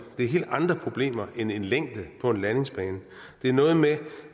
det er helt andre problemer end en længde på en landingsbane det er noget med